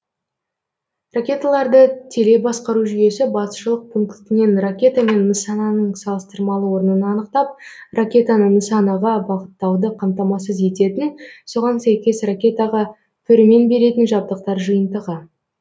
ракеталарды телебасқару жүйесі басшылық пунктінен ракета мен нысананың салыстырмалы орнын анықтап ракетаны нысанаға бағыттауды қамтамасыз ететін соған сәйкес ракетаға пөрмен беретін жабдықтар жиынтығы